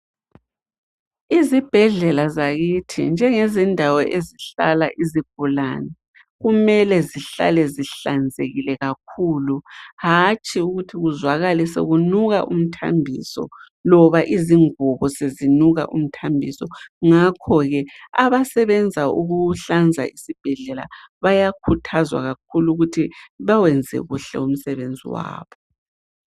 Izibhedlela zakithi njengezindawo ezihlala izigulane kumele zihlale zihlanzekile kakhulu, hatshi ukuthi kuzwakale sekunuka umthambiso loba izingubo sezinuka umthambiso, ngakho ke abasebenza ukuhlanza isibhedlela bayakhuthazwa kakhulu ukuthi bewenze kuhle umsebenzi wabo.